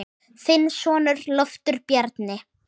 Þinn sonur, Loftur Bjarni.